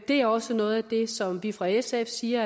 det er også noget af det som vi fra sfs side